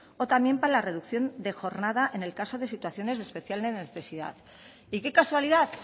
o también para la reducción de jornada en el caso de situaciones de especial necesidad y qué casualidad